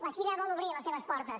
la xina vol obrir les seves portes